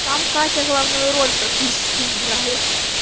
там катя главную роль практически играет